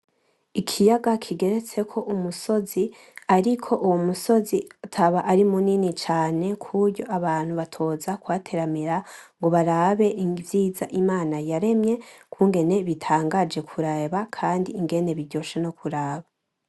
Ikiyaga kigeretseko umusozi ariko uwo musozi utaba ari munini cane kuburyo abantu batoza kuhateramira ngo barabe ivyiza Imana yaremye kungene bitangaje kureba kandi ingene biryoshe no kuraba.